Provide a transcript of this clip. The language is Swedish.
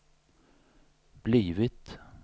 blivit